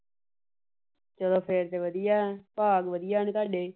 ਚਲੋ ਫੇਰ ਤਾਂ ਵਧੀਆ । ਭਾਗ ਵਧੀਆ ਨੇ ਤੁਹਾਡੇ।